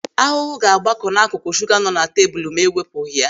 Ahụhụ ga-agbakọ n'akụkụ shuga nọ na tebụl ma e wepụghị ya.